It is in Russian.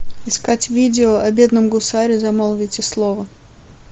искать видео о бедном гусаре замолвите слово